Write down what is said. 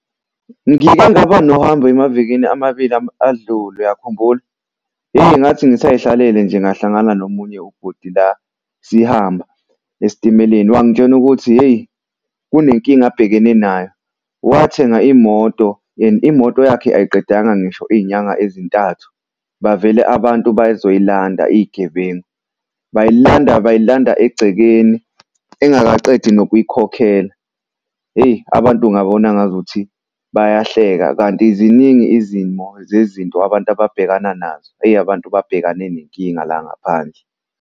Ngike ngaba nohambo emavikini amabili adlule. Uyakhumbula? Hheyi ngathi ngisay'hlalele nje ngahlangana nomunye ubhuti la sihamba esitimeleni wangitshena ukuthi hheyi kunenkinga abhekene nayo. Wathenga imoto and imoto yakhe ayiqedanga ngisho iy'nyanga ezintathu bavele abantu bazoyilanda iy'gebengu. Bayilanda, bayilanda egcekeni engakaqedi nokuyikhokhela. Hheyi abantu ungabona ngazuthi bayahleka kanti ziningi izimo zezinto, abantu ababhekana nazo eyi abantu babhekane nenkinga la ngaphandle.